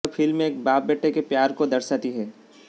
यह फिल्म एक बाप बेटे के प्यार को दर्शाती है